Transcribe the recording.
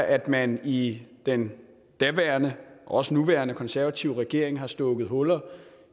at man i den daværende og også den nuværende konservative regering har slået huller